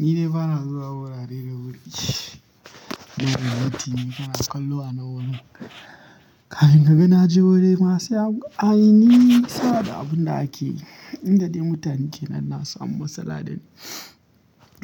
Ni dai bana zuwa wurare da wuri ina latti na kallo a na wuri. Kafin ka ga na je wuri ma sai an yi saboda abun da ake inda dai mutane ke nan na samu matsala dani.